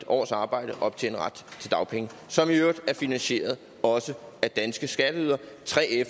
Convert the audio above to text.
års arbejde optjene ret til dagpenge som i øvrigt også er finansieret af danske skatteydere